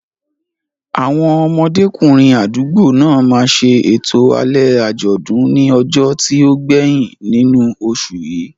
Àwọn ọmọdékùnrin àdúgbò náà máa ṣe ètò alẹ́ àjọ̀dún ní ọjọ́ tó gbẹ̀yìn nínú oṣù yìí.